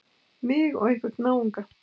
Mig og einhvern náunga.